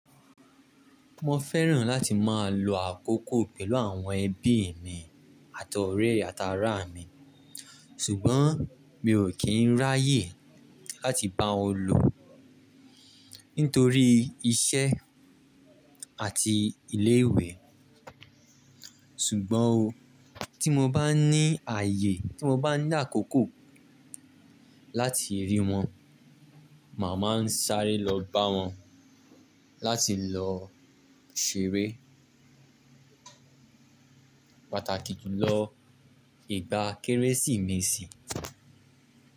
Mo fẹ́ràn láti máa lo àkókò pẹ̀lú àwọn ẹbí mi àti ọ̀rẹ́ àti àraà mi, ṣùgbọ́n mi ò kí ń ráayè láti bá wọn lo nítorí iṣẹ́ àti ilé ìwé. Ṣùgbọ́n ó, tí mo bá ní ààyè, tí mo bá ní àkókò láti rí wọn, màá máa ń sáré lọ bá wọn láti lọ ṣeré, pàtàkì jù lọ, ìgbà Kérésìmesì.